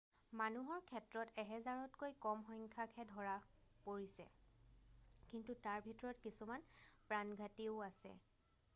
মানুহৰ ক্ষেত্ৰত এহেজাৰতকৈ কম সংখ্যাকহে ধৰা পৰিছে কিন্তু তাৰ ভিতৰত কিছুমান প্ৰাণঘাতীও আছে